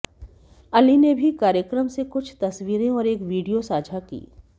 अली ने भी कार्यक्रम से कुछ तस्वीरें और एक वीडियो साझा की